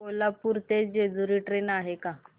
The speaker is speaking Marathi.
कोल्हापूर ते जेजुरी ट्रेन आहे का